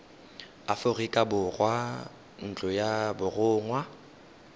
aforika borwa ntlo ya borongwa